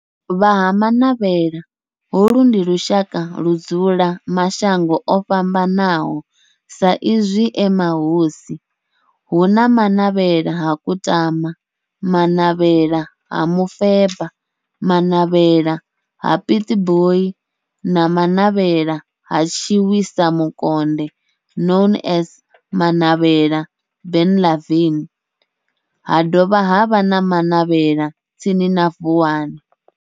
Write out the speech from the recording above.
Vha Ha-Manavhela, holu ndi lushaka ludzula kha mashango ofhambanaho sa izwi e mahosi, hu na Manavhela ha Kutama, Manavhela ha Mufeba, Manavhela ha Pietboi na Manavhela ha Tshiwisa Mukonde known as Manavhela Benlavin, ha dovha havha na Manavhela tsini na Vuwani.